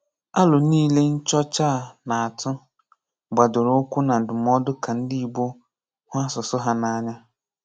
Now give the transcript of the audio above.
Àlò niile nchọcha a na-atù gbadoro ụkwụ na ndùmọdụ ka ndị Ìgbò hụ asụsụ ha n’anya.